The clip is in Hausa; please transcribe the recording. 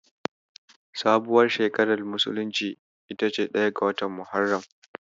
Sabuwar shekarar musulunci ita ce ɗaya ga watan Muharram.